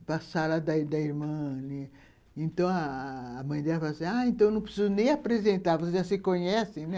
Para sala da da irmã Ana, então, a mãe dela falou assim, ah, então não preciso nem apresentar, vocês já se conhecem, né?